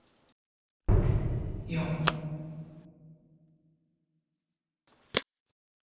Jón Örn Guðbjartsson: Heldur þú að verði af því að húsið verði rifið?